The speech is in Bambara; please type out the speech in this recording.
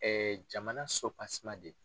jamana sopaseman de